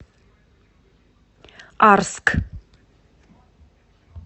арск